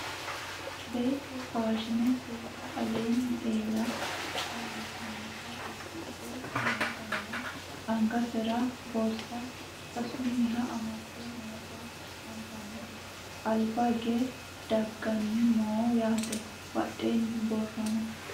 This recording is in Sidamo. beetto faashine seeda alinni eela iillitinota uddidhe nootanna angasera borsa seesunniha amadde noota anfanniti albaagge dagganni no yaate badheenni borro no